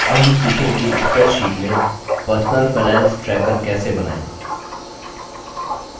अब हम सीखेंगे कि spreadsheet में personal finance tracker कैसे बनाएँ